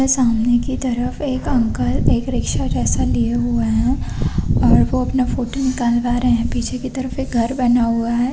सामने की तरफ एक अंकल एक रिक्शा जैसे लिए हुए है और वो अपना फोटो निखलवा रहे है पीछे की तरफ एक घर बना हुआ है।